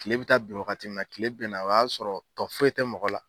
Kile bɛ taa bin waagati mina, kile bɛnna o y'a sɔrɔ tɔ foyi tɛ mɔgɔ la.